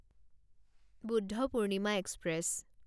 Bodhpurnima express